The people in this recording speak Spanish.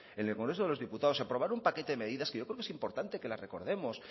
en el congreso de los diputados se aprobaron un paquete de medidas que yo creo que es importante que las recordemos